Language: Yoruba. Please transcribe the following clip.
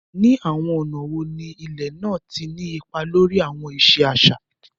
Ní àwọn ọ̀nà wo ni ilẹ̀ náà ti ní ipa lórí àwọn ìṣe àṣà?